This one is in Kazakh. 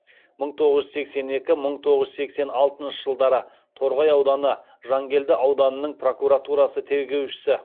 мың тоғыз жүз сексен екі мың тоғыз жүз сексен алтыншы жылдары торғай ауданы жангелді ауданының прокуратурасы тергеушісі